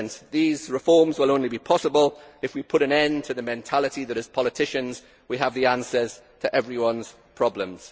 These reforms will only be possible if we put an end to the mentality that, as politicians, we have the answers to everyone's problems.